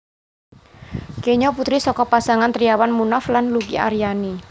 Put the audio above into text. Kenya putri saka pasangan Triawan Munaf lan Luki Ariani